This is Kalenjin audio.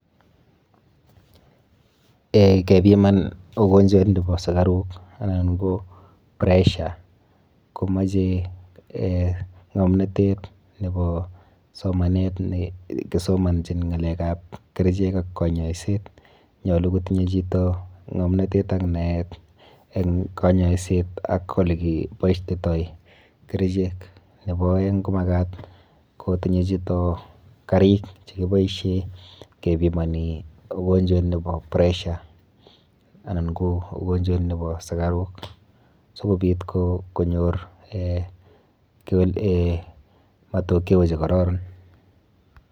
um Kepiman ugonjwet nepo sukaruk anan ko pressure komoche um ng'omnotet nepo somanet nekisomonjin ng'alekap kerichek ak kanyoiset nyolu kotinye chito ng'omnatet ak naet eng kanyoiset ak olekipoishoitoi kerichek. Nepo oeng ko makat kotinye chito karik chekiboishe kepimoni ugonjwet nepo pressure anan ko ugonjwet nepo sukaruk sikobit konyor matokeo chekororon.